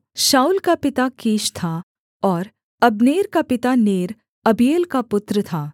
शाऊल का पिता कीश था और अब्नेर का पिता नेर अबीएल का पुत्र था